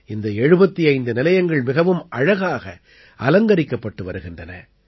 இந்த 75 நிலையங்கள் மிகவும் அழகாக அலங்கரிக்கப்பட்டு வருகின்றன